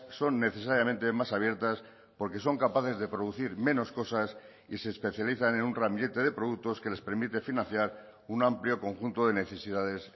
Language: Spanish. son necesariamente más abiertas porque son capaces de producir menos cosas y se especializan en un ramillete de productos que les permite financiar un amplio conjunto de necesidades